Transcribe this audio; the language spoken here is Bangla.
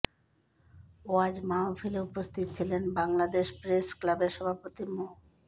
ওয়াজ মাহফিলে উপস্থিত ছিলেন বাংলাদেশ প্রেস ক্লাবের সভাপতি মো